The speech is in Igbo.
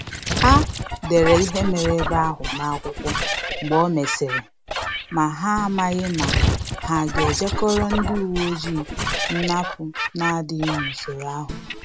Ha dere ihe mere ebe ahụ n’akwụkwọ mgbe e mesịrị, ma ha amaghi ma ha ga-eje koro ndi iwu nnapu na-adịghị n’usoro ahụ